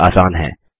यह आसान है